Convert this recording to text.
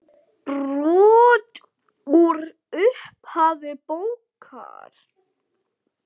Brot úr upphafi bókar